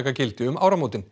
gildi um áramót